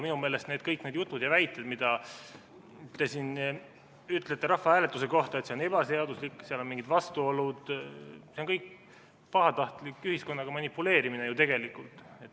Minu meelest on kõik need jutud ja väited, mida te siin ütlete rahvahääletuse kohta, et see on ebaseaduslik ja seal on mingid vastuolud, pahatahtlik ühiskonnaga manipuleerimine ju tegelikult.